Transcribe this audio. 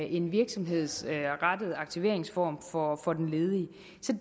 en virksomhedsrettet aktiveringsform for for den ledige